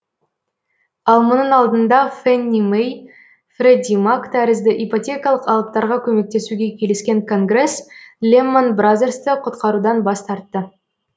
ал мұның алдында фэнни мэй фредди мак тәрізді ипотекалық алыптарға көмектесуге келіскен конгресс леман бразерсті құтқарудан бас тартты